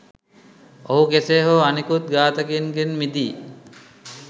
ඔහු කෙසේ හෝ අනිකුත් ඝාතකයින්ගෙන් මිදී